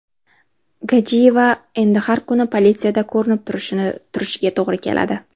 Gajiyeva endi har kuni politsiyada ko‘rinib turishiga to‘g‘ri keladi.